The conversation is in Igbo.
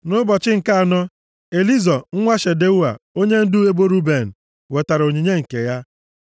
Nʼụbọchị nke anọ, Elizọ nwa Shedeua onyendu ebo Ruben wetara onyinye nke ya.